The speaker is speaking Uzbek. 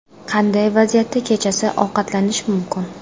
Qanday vaziyatda kechasi ovqatlanish mumkin?